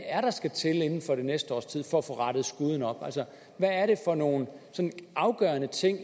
er der skal til inden for det næste års tid for at få rettet skuden op altså hvad er det for nogle sådan afgørende ting